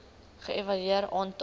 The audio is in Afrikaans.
ge evalueer aantal